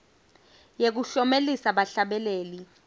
yekuklomelisa bahlabeleli